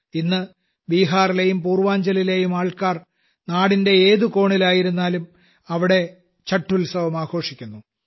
ഇന്ന് ബീഹാറിലെയും പൂർവ്വാഞ്ചലിലെയും ആൾക്കാർ നാടിന്റെ ഏതു കോണിലായിരുന്നാലും അവിടെ ഛഠ് ഉത്സവം ആഘോഷിക്കുന്നു